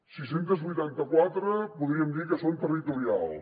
sis centes vuitanta quatre podríem dir que són territorials